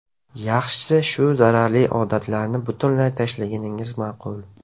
Yaxshisi bu zararli odatlarni butunlay tashlaganingiz ma’qul.